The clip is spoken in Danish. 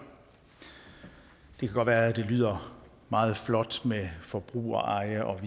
det kan godt være at det lyder meget flot med forbrugereje og et